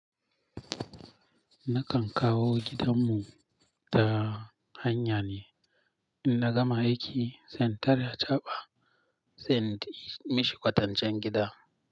Nakan kawo gidan mu ta hanya ne. In na gama aiki, sai in tare achaɓa, sai in mishi ƙwatancen gida.